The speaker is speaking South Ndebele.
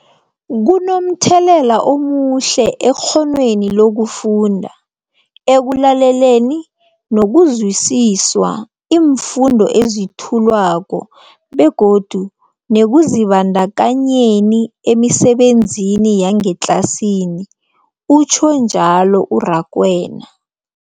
Kunomthelela omuhle ekghonweni lokufunda, ekulaleleni nokuzwisiswa iimfundo ezethulwako begodu nekuzibandakanyeni emisebenzini yangetlasini, utjhwe njalo u-Rakwena.